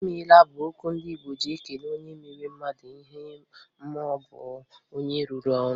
"I meela" bụ okwu ndị Igbo ji ekele onye mere mmadụ ihe maọbụ onye rụrụ ọrụ.